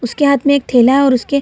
उसके हाथ मे एक थैला है उसके --